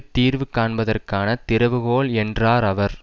தீர்வு காண்பதற்கான திறவுகோல் என்றார் அவர்